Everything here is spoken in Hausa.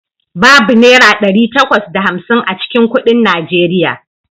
Babu Naira ɗari takwas da hamsin a cikin kuɗin Najeriya.